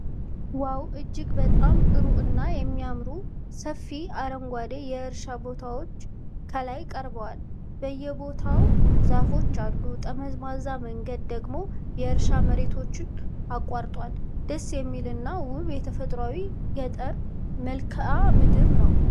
ዋው! እጅግ በጣም ጥሩ እና የሚያምሩ ሰፊ አረንጓዴ የእርሻ ቦታዎች ከላይ ቀርበዋል። በየቦታው ዛፎች አሉ፤ ጠመዝማዛ መንገድ ደግሞ የእርሻ መሬቶችን አቋርጧል። ደስ የሚል እና ውብ የተፈጥሮአዊ ገጠር መልክዓ ምድር ነው።